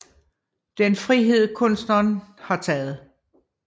Det er en frihed kunstneren har taget